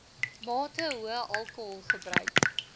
mate hoë alkoholgebruik